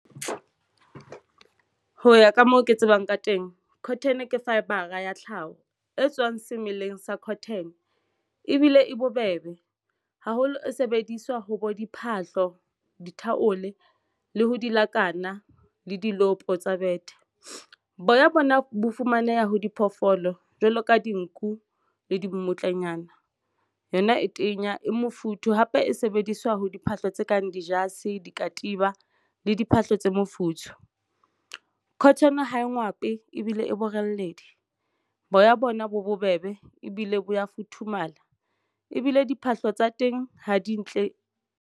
Ho ya ka moo ke tsebang ka teng cotton ke fibre-a ya tlhaho e tswang semelleng sa cotton ebile e bobebe haholo e sebediswa ho bo diphahlo dithaole le ha di-locarno le diloopo tsa betere. Boya bona bo fumaneha ho diphoofolo jwalo ka dinku le dimmutlanyana. Yona e tenya e mofuthu hape e sebediswa ho diphahlo tse kang di jase dikatiba le diphahlo tse mofuthu cotton ho e ngwe hape ebile e boreledi. Boya bona bo bobebe ebile boya futhumala ebile diphahlo tsa teng ha di ntle.